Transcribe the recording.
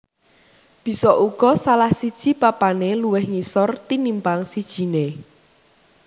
Bisa uga salah siji papané luwih ngisor tinimpang sijiné